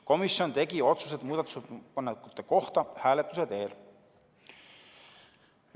Komisjon tegi otsused muudatusettepanekute kohta hääletuse teel.